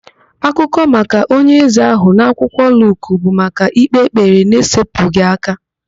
Akụkọ maka onye eze ahụ na akwụkwọ Luk bụ maka ịkpe ekpere n'esepụghị aka.